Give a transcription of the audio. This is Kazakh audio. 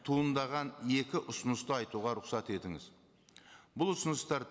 туындаған екі ұсынысты айтуға рұқсат етіңіз бұл ұсыныстар